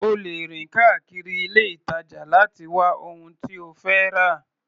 O lè rìn káàkiri ilé-ìtàjà láti wá ohun tí o fẹ́ rà.